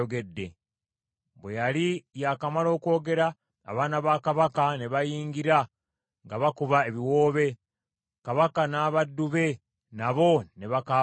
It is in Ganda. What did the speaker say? Bwe yali yakamala okwogera, abaana ba kabaka ne bayingira nga bakuba ebiwoobe. Kabaka n’abaddu be nabo ne bakaaba nnyo nnyini.